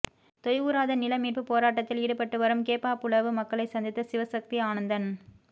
தொய்வுறாத நிலமீட்பு போராட்டத்தில் ஈடுபட்டு வரும் கேப்பாபுலவு மக்களை சந்தித்த சிவசக்தி ஆனந்தன்